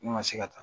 Ne ma se ka taa